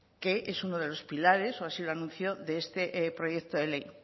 que es uno de los pilares o así lo anunció de este proyecto de ley